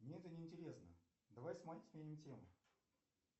мне это не интересно давай сменим тему